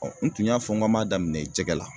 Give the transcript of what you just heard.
n tun y'a fɔ ŋ'an m'a daminɛ jɛgɛ la